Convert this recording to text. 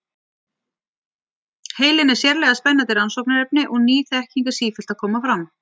Heilinn er sérlega spennandi rannsóknarefni og ný þekking er sífellt að koma fram.